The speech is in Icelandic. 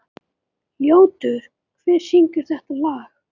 Ljótur, hver syngur þetta lag?